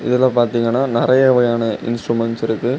இதுல பார்த்தீங்கன்னா நறைய வகையான இன்ஸ்ட்ருமெண்ட்ஸ் இருக்கு.